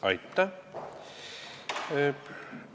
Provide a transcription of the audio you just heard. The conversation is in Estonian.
Aitäh!